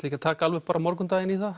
ekki að taka alveg bara morgundaginn í það